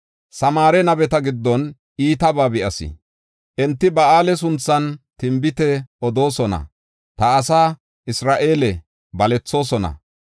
“Samaare nabeta giddon iitabaa be7as. Enti Ba7aale sunthan tinbite odoosona; ta asaa Isra7eele balethoosona.